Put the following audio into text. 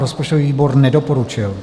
Rozpočtový výbor nedoporučil.